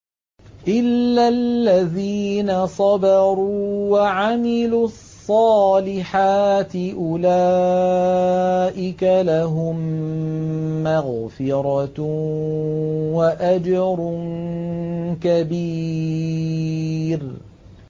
إِلَّا الَّذِينَ صَبَرُوا وَعَمِلُوا الصَّالِحَاتِ أُولَٰئِكَ لَهُم مَّغْفِرَةٌ وَأَجْرٌ كَبِيرٌ